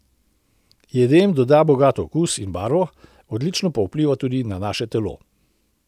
Jedem doda bogat okus in barvo, odlično pa vpliva tudi na naše telo.